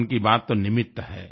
मन की बात तो निमित्त है